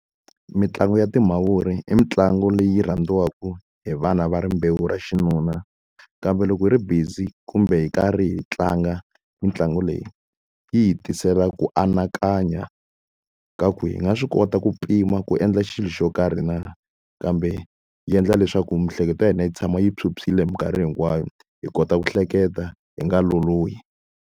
Mitlangu ya timavuri i mitlangu leyi rhandziwaka hi vana va rimbewu ra xinuna. Kambe loko hi ri busy kumbe hi karhi hi tlanga mitlangu leyi, yi hi tisela ku anakanya ka ku hi nga swi kota ku pima ku endla xilo xo karhi na. Kambe yi endla leswaku miehleketo ya hina yi tshama yi phyuphyile hi minkarhi hinkwayo, hi kota ku hleketa hi nga lolohi.